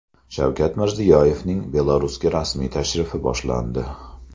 Shavkat Mirziyoyevning Belarusga rasmiy tashrifi boshlandi.